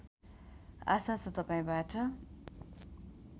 आशा छ तपाईँबाट